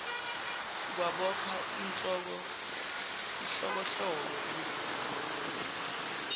kwabopha ihlokohloko endlinini